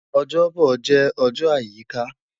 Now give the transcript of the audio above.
Ojobo jẹ ọjọ ayika